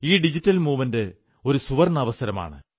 ഈ digital movement ഒരു സുവർണ്ണാവസരമാണ്